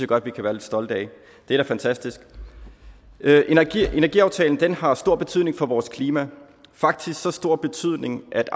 godt vi kan være lidt stolte af det er da fantastisk energiaftalen har stor betydning for vores klima faktisk så stor betydning at